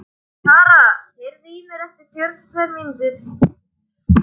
Tara, heyrðu í mér eftir fjörutíu og tvær mínútur.